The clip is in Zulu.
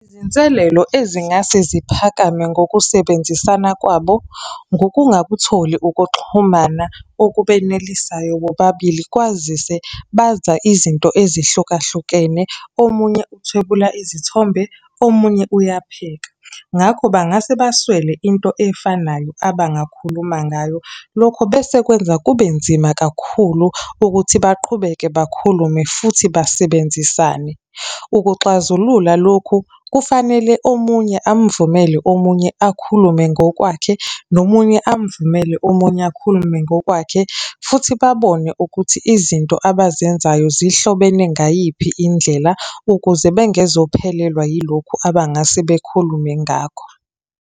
Izinselelo ezingase ziphakame ngokusebenzisana kwabo, ngokungakutholi ukuxhumana okubenelisayo bobabili, kwazise baza izinto ezihlukahlukene, omunye uthwebula izithombe, omunye uyapheka. Ngakho bangase baswele into efanayo abangakhuluma ngayo, lokho bese kwenza kubenzima kakhulu ukuthi baqhubeke bakhulume, futhi basebenzisane. Ukuxazulula lokhu, kufanele omunye amuvumele omunye akhulume ngokwakhe, nomunye amuvumele omunye akhulume ngokwakhe. Futhi babone ukuthi izinto abazenzayo zihlobene ngayiphi indlela, ukuze bengezophelelwa yilokhu abangase bekhulume ngakho.